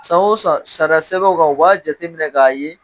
San o san sariya sɛbɛnw kan o b'a jateminɛ k'a ye